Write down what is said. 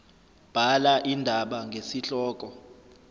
bhala indaba ngesihloko